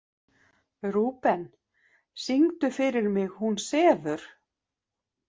Rúben, syngdu fyrir mig „Hún sefur“.